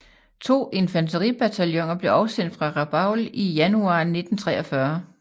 To infanteribataljoner blev afsendt fra Rabaul i januar 1943